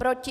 Proti?